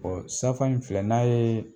safam filɛ n'a yee